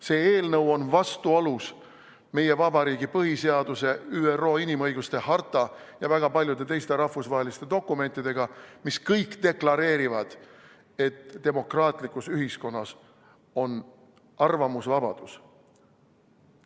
See eelnõu on vastuolus meie vabariigi põhiseaduse, ÜRO inimõiguste ülddeklaratsiooni ja väga paljude teiste rahvusvaheliste dokumentidega, mis kõik deklareerivad, et demokraatlikus ühiskonnas on arvamusvabadus.